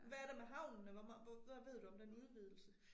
Hvad er der med havnen eller hvad ved du om den udvidelse?